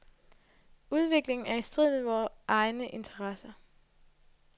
Udviklingen er i strid med vore egne interesser.